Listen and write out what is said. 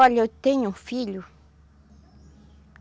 Olha, eu tenho um filho.